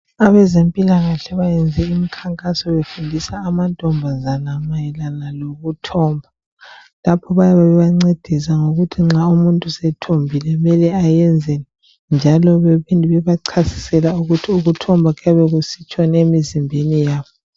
Abezempila kahle bayayenzi mikhankaso befundisa amantombazana mayelana lokuthomba lapho bayabe bebancedisa ukuthi nxa umuntu esethombile kumele ayenzeni njalo baphinde bebachasisele ukuthi ukuthomba kuyabe kusitshoni emizimbeni yabo